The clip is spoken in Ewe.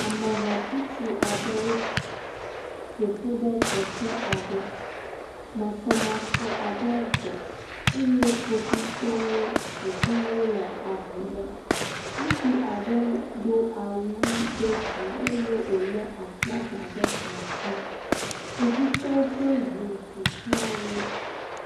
Amehatsotso aɖewo ƒo ƒu ɖe teƒe aɖe. Masɔmasɔ aɖe dzɔ eye Kpovitɔwo ƒoʋlã wo le avu lém. Ŋutsu aɖe do awu ʋii ɖe dzi eye wòlé aflaga ɖe asi. Kpovitɔwo ʋe ŋu ƒo ʋlã wo.